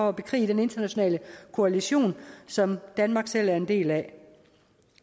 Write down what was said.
at bekrige den internationale koalition som danmark selv er en del af